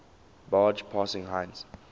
barge passing heinz